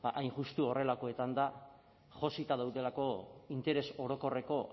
ba hain justu horrelakoetan da josita daudelako interes orokorreko